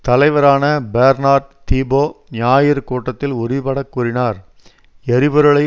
தலைவரான Bernard Thibault ஞாயிறு கூட்டத்தில் உறுதிபடக் கூறினார் எரிபொருளை